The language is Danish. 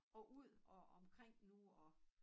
Og ud og omkring nu og